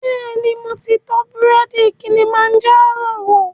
Bẹ́ẹ̀ni, mo ti tọ búrẹ́dì Kilimanjaro wò